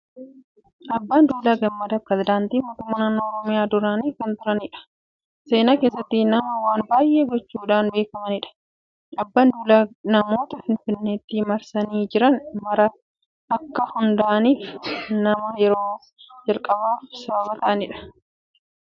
Abbaan Duulaa Gammadaa Pireesidaantii mootummaa Naannoo Oromiyaa duraanii kan turanidha. Seenaa keessatti nama waan baay'ee gochuudhaan beekamanidha. Abbaan Duulaa magaalota Finfinneetti marsanii jiran mara akka hundaa'aniif nama yerooo jalqabaaf sababa ta'anidha.